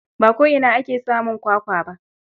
Ba ko'ina ake samun kwakwa ba.